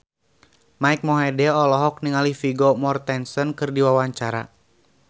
Mike Mohede olohok ningali Vigo Mortensen keur diwawancara